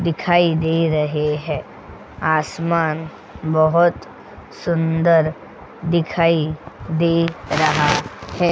दिखाई दे रहे हैं आसमान बहुत सुंदर दिखाई दे रहा है.